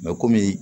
komi